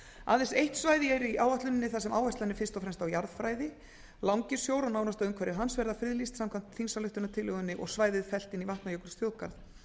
aðeins eitt svæði er í áætluninni þar sem áherslan er fyrst og fremst á jarðfræði langisjór og nánasta umhverfi hans verða friðlýst samkvæmt þingsályktunartillögunni og svæðið fellt inn í vatnajökulsþjóðgarð